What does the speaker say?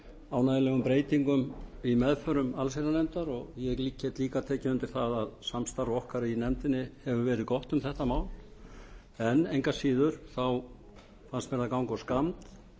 ánægjulegum breytingum í meðförum allsherjarnefndar ég get líka tekið undir það að samstarf okkar í nefndinni hefur verið gott um þetta mál engu að síður fannst mér það ganga of skammt